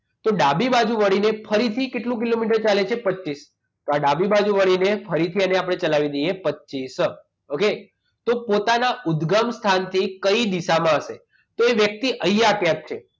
તો ડાબી બાજુ વળીને ફરીથી કેટલા કિલોમીટર ચાલે છે તો પચીસ તો ડાબી બાજુ વળીને ફરીથી એને આપણે ચલાવી દઈએ પચીસ okay તો પોતાના ઉદગમ સ્થાનથી કઈ દિશામાં હશે તો એ વ્યક્તિ અહીંયા છે